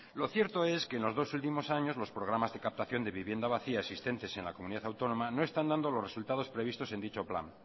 lo cierto es que en los dos últimos años los programas de captación de vivienda vacía existentes en la comunidad autónoma no están dando los resultados previstos en dicho plan